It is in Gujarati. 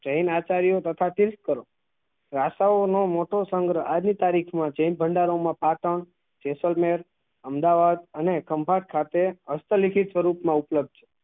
જેન આચાર્યો તથા તીર્થ સ્થળો ભાષાઓ નું ભાષાઓ નું મોટો સંગ્ર આજ ની તારીખ માં જેન ભંડારો માં જેસલમેર અમદાવાદ અને સાથે હસ્ત લિખિત સ્વરૂપ મા ઉપલબ્ધ છે